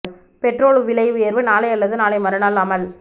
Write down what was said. petrol விலை உயர்வு நாளை அல்லது நாளை மறுநாள் அமல்